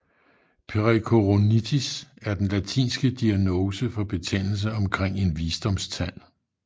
Pericoronitis er den latinske diagnose for betændelse omkring en visdomstand